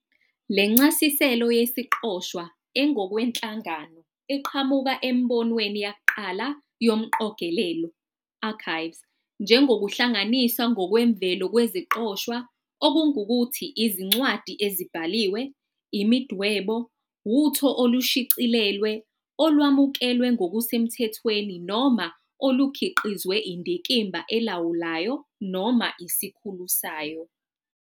Le ncasiselo yesiqoshwa engokwenhlangano iqhamuka emibinweni yakuqala yomqogelelo, "archives", njengokuhlanganiswa ngokwemvelo kweziqoshwa, okungukuthi "izincwadi ezibhaliwe, imidwebo, uTho olushicilelwe, olwamukelwe ngokusemthethweni noma olukhiqizwe indikimba elawulayo noma isikhulu sayo".